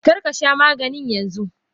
Karkasha Maganin yanzu!